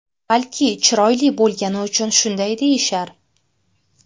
Balki chiroyli bo‘lgani uchun shunday deyishar?